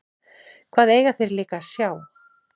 Hvað eiga þeir líka að sjá?